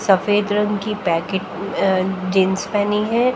सफ़ेद रंग की पैकेट अह जीन्स पहनी है।